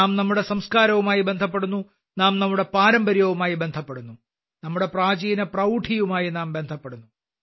നാം നമ്മുടെ സംസ്കാരവുമായി ബന്ധപ്പെടുന്നു നാം നമ്മുടെ പാരമ്പര്യവുമായി ബന്ധപ്പെടുന്നു നമ്മുടെ പ്രാചീന പ്രൌഢിയുമായി നാം ബന്ധപ്പെടുന്നു